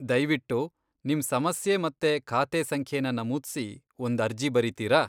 ದಯ್ವಿಟ್ಟು ನಿಮ್ ಸಮಸ್ಯೆ ಮತ್ತೆ ಖಾತೆ ಸಂಖ್ಯೆನ ನಮೂದ್ಸಿ ಒಂದ್ ಅರ್ಜಿ ಬರೀತೀರಾ?